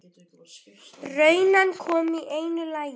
Runan kom í einu lagi.